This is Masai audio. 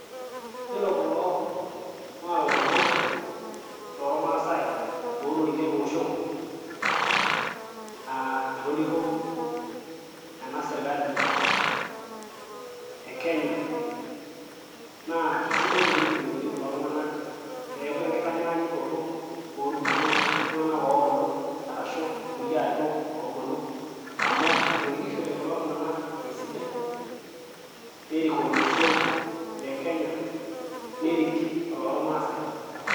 Yiolo kulo naa ilarikok lormaasai lotoriko ele osho aa etoriko ena serkali e kenya naa kesidai teneyolouni kulo tung'anak peeku enkitanyaanyukoto orkulie tung'anak oobulu arashu irkulie arikok oobulu amu etorikishote kulo tung'anak esidai, nerik olosho le kenya, nerik olormaasai.